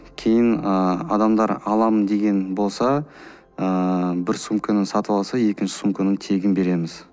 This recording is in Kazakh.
кейін ыыы адамдар алам деген болса ыыы бір сумканы сатып алса екінші сумканы тегін береміз